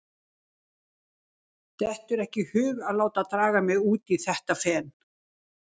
Dettur ekki í hug að láta draga mig út í þetta fen.